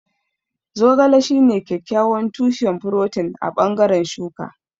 Zogale shine kyakkyawan tushen furotin a bangaren shuka.